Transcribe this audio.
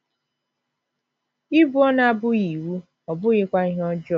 Ibu ọnụ abụghị iwu, ọ bụghịkwa ihe ọjọọ.